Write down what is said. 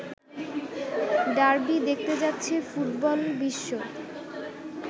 derby দেখতে যাচ্ছে football বিশ্ব